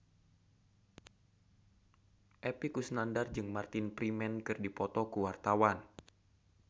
Epy Kusnandar jeung Martin Freeman keur dipoto ku wartawan